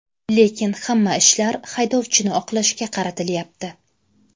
Lekin hamma ishlar haydovchini oqlashga qaratilyapti”.